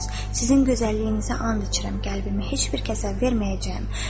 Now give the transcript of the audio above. Sizin gözəlliyinizə and içirəm, qəlbimi heç bir kəsə verməyəcəyəm.